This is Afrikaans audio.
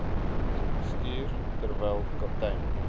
bestuurder terwyl kaptein